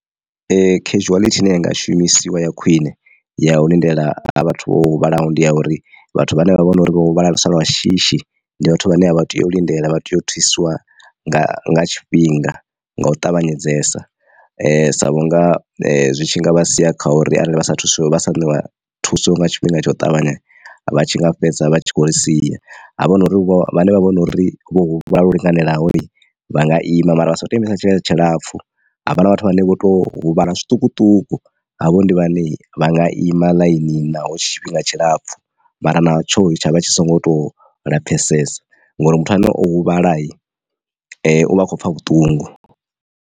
Khenzhuwaḽithi ine yanga shumisiwa ya khwine ya u lindela ha vhathu vho huvhalaho ndi ya uri vhathu vhane vha vhori vho huvhalesa lwa shishi ndi vhathu vhane a vha tei u lindela vha tea u thusiwa nga nga tshifhinga nga u ṱavhanyedzesa sa vhunga zwi tshi nga vha sia kha uri arali vha sa thu vha sa ṋewa thuso nga tshifhinga tsha u ṱavhanya vha tshi nga fhedza vha tshi khou ri sia ha vha hu no uri vho vhane vha vhori vho huvhalaho lwo linganelaho vha nga ima mara vha si kho to imisa tshifhinga tshilapfhu. Havha na vhathu vhane vho to huvhala zwiṱukuṱuku havho ndi vhane vha nga ima ḽainini naho tshi tshifhinga tshilapfu mara na tsho tshavha tshi songo to lupfhesesa ngori muthu ane o huvhala u vha a khou pfha vhuṱungu.